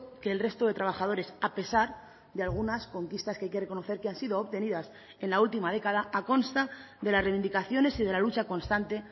que el resto de trabajadores a pesar de algunas conquistas que hay que reconocer que han sido obtenidas en la última década a consta de las reivindicaciones y de la lucha constante